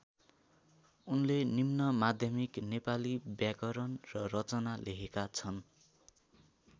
उनले निम्नमाध्यमिक नेपाली व्याकरण र रचना लेखेका छन्।